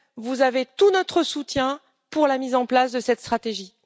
Vous avez tout notre soutien pour la mise en place de cette stratégie.